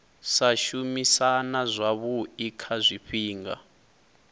sa shumisana zwavhui kha zwifhinga